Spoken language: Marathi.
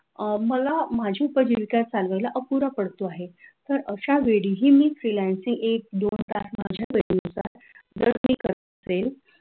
अह मला माझी पहिली का सांगायला अपुरा पडतो आहे तर अशावेळी मी freelancing एक-दोन तास माझ्या वेळेनुसार जर मी करत असेल